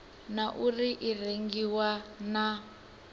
na uri i rengiwa na